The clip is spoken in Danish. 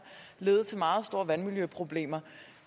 lede til meget store vandmiljøproblemer